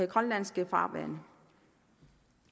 grønlandske farvande